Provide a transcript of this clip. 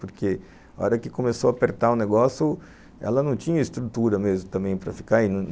Porque a hora que começou a apertar o negócio, ela não tinha estrutura mesmo também para ficar indo.